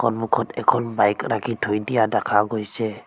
সন্মুখত এখন বাইক ৰাখি থৈ দিয়া দেখা গৈছে।